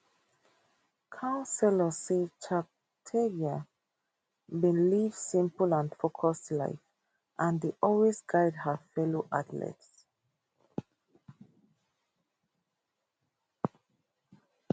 councillors say cheptegei bin live simple and focused life and dey always guide her fellow athletes